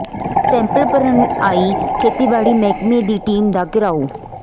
sample ਭਰਨ ਆਈ ਖੇਤੀਬਾੜੀ ਮਹਿਕਮੇ ਦੀ ਟੀਮ ਦਾ ਘਿਰਾਓ